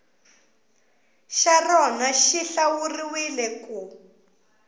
xa rona xi hlawuriwile ku